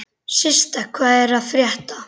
Systa, hvað er að frétta?